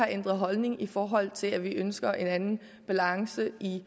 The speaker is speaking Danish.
ændret holdning i forhold til at vi ønsker en anden balance i